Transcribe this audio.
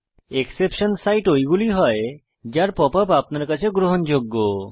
exception site ঐগুলি হয় যার পপ আপ আপনার কাছে গ্রহণযোগ্য